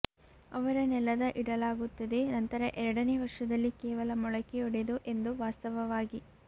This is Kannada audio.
ಅವರು ನೆಲದ ಇಡಲಾಗುತ್ತದೆ ನಂತರ ಎರಡನೇ ವರ್ಷದಲ್ಲಿ ಕೇವಲ ಮೊಳಕೆಯೊಡೆದು ಎಂದು ವಾಸ್ತವವಾಗಿ